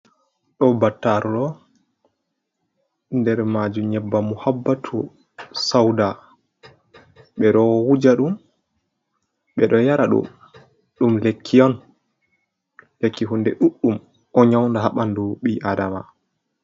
Ɗo battaru ɗo nder majum nyebam muhabbatu sauda, ɓe ɗo wuja ɗum, ɓe ɗo yara ɗum, lekki on, lekki hunde ɗuɗɗum ɗo nyaunda ha ɓandu ɓi-adama.